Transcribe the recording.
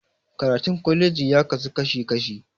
Karatun kwalaji ya kasu kashi kashi